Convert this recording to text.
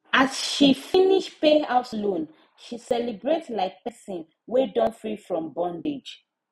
as she finish pay house loan she celebrate like person wey don free from bondage